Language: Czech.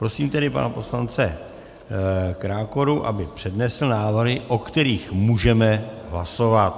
Prosím tedy pana poslance Krákoru, aby přednesl návrhy, o kterých můžeme hlasovat.